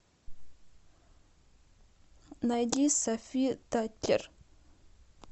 найди софи таккер